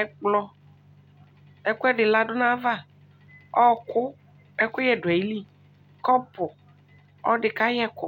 ɛkplɔ ɛkʋɛdi ladʋ nayava ɔʋkʋ kɛkʋyɛdʋ ayilii kɔpʋʋ ɔdi kayɛkʋ